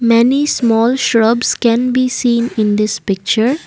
many small shrubs can be seen in this picture.